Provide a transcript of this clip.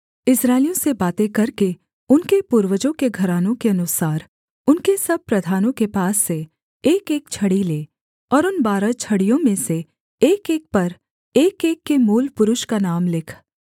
इस्राएलियों से बातें करके उनके पूर्वजों के घरानों के अनुसार उनके सब प्रधानों के पास से एकएक छड़ी ले और उन बारह छड़ियों में से एकएक पर एकएक के मूलपुरुष का नाम लिख